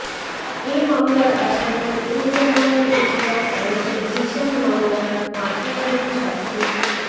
এ মামলার আসামি ইনজামামুল ইসলাম ওরফে জিসান মামলার পাঁচনজন সাক্ষীর